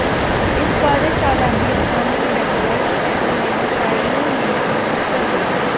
इस कार्यशाला में स्थानीय बैंकर्स एवं व्यवसायियों ने भी हिस्सा लिया